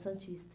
Santista.